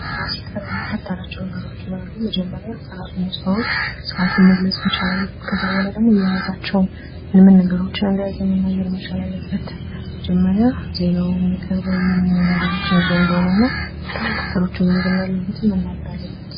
ዜና ሲቀር የሚከተላቸው ነገሮች ይኖራሉ ።መጀመሪያ ራስን ማስተዋወቅ ሰአቱን መግለጽ መቻላል አለብን ከዛ በኋላ ደግሞ የያዛቸውም ምን ምን ነገሮችን እንደያዘ መናገር መቻል አለበት። መጀመሪያ ዜናው የሚቀርበው ምን ምን ነገሮችን ይዞ እንደሆነ እና ነገሮችን እንደያዘ መናገር አለበት።